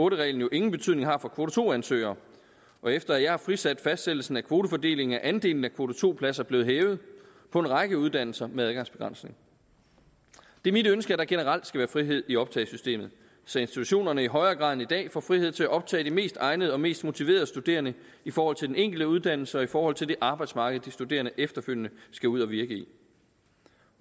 en reglen jo ingen betydning har for kvote to ansøgere og efter jeg har frisat fastsættelsen af kvotefordelingen er andelen af kvote to pladser blevet hævet på en række uddannelser med adgangsbegrænsning det er mit ønske at der generelt skal være frihed i optagesystemet så institutionerne i højere grad end i dag får frihed til at optage de mest egnede og mest motiverede studerende i forhold til den enkelte uddannelse og i forhold til det arbejdsmarked de studerende efterfølgende skal ud at virke i